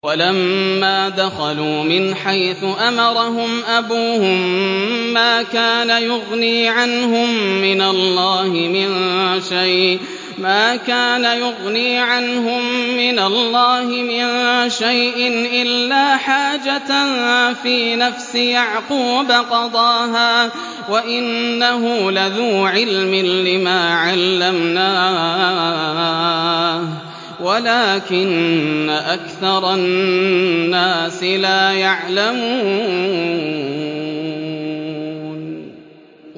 وَلَمَّا دَخَلُوا مِنْ حَيْثُ أَمَرَهُمْ أَبُوهُم مَّا كَانَ يُغْنِي عَنْهُم مِّنَ اللَّهِ مِن شَيْءٍ إِلَّا حَاجَةً فِي نَفْسِ يَعْقُوبَ قَضَاهَا ۚ وَإِنَّهُ لَذُو عِلْمٍ لِّمَا عَلَّمْنَاهُ وَلَٰكِنَّ أَكْثَرَ النَّاسِ لَا يَعْلَمُونَ